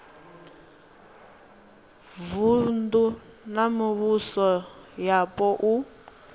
vunu na mivhuso yapo u